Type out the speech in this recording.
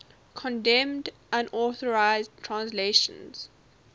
condemned unauthorized translations